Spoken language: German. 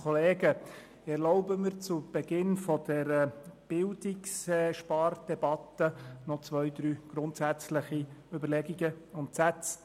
Ich erlaube mir zu Beginn der Spardebatte zwei, drei grundsätzliche Überlegungen anzustellen.